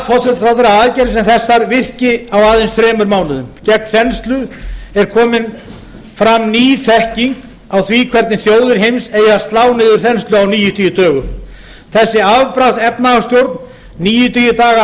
forsætisráðherra að aðgerðir sem þessar virki á aðeins þremur mánuðum gegn þenslu er komin fram ný þekking á því hvernig þjóðir heims eigi að slá niður þenslu á níutíu dögum þessi afbragðs efnahagsstjórn níutíu daga